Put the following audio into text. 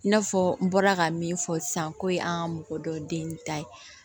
I n'a fɔ n bɔra ka min fɔ sisan ko ye an ka mɔgɔ dɔ den ta ye